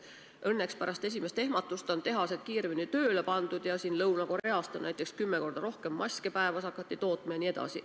Õnneks pärast esimest ehmatust on tehased kiiremini tööle pandud, Lõuna-Koreas näiteks on hakatud päevas kümme korda rohkem maske tootma, jne.